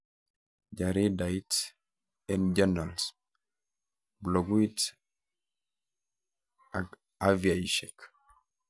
Jaridait, e-journals, bloguit akviaishek